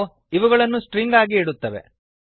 ಇದು ಅವುಗಳನ್ನು ಸ್ಟ್ರಿಂಗ್ ಆಗಿ ಇಡುತ್ತದೆ